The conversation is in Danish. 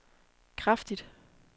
kraftigt